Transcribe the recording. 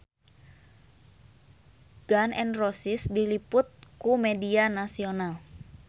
Gun N Roses diliput ku media nasional